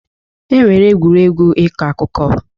E nwere egwuregwu ịkọ akụkọ.